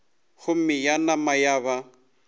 gomme ya nama ya ba